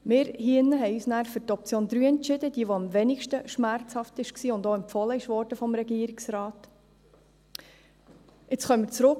Wir entschieden uns hier drin für die dritte Option, die am wenigsten schmerzhaft war und auch vom Regierungsrat empfohlen wurde.